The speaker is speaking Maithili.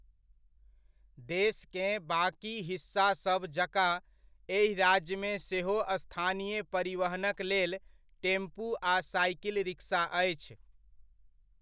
देशकेँ बाकि हिस्सासभ जकाँ, एहि राज्यमे सेहो स्थानीय परिवहनक लेल, टेम्पू आ साइकिल रिकसा अछि।